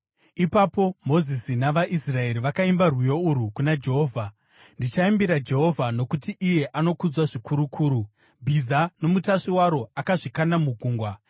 Ipapo Mozisi navaIsraeri vakaimba rwiyo urwu kuna Jehovha: “Ndichaimbira Jehovha, nokuti iye anokudzwa zvikurukuru. Bhiza nomutasvi waro akazvikanda mugungwa.